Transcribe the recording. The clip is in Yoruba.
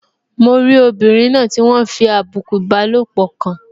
Mo rí obìnrin náà tí wọ́n fi àbùkù ìbálòpọ̀ kàn